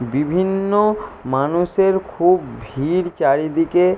বিভিন্ন-অ-অ মানুষের খুব ভিড় চারিদিকে।